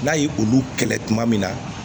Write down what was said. N'a ye olu kɛlɛ tuma min na